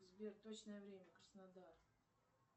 сбер точное время краснодар